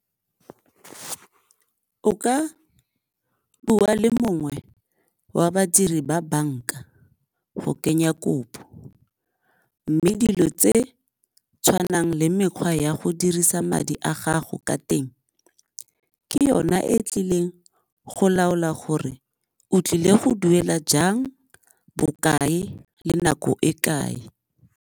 O ka bua le mongwe wa badiri ba banka go kenya kopo mme dilo tse tshwanang le mekgwa ya go dirisa madi a gago ka teng, ke yona e tlileng go laola gore o tlile go duela jang, bokae le nako e kae.